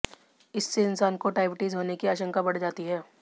इससे इंसान को डायबिटीज होने की आशंका बढ़ जाती है